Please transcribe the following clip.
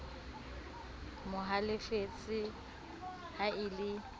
mo halefetse ha e le